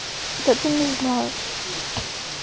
это ты не знаешь